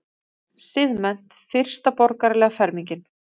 Siðmennt- fyrsta borgaralega fermingin.